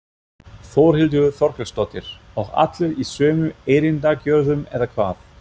Þórhildur Þorkelsdóttir: Og allir í sömu erindagjörðum eða hvað?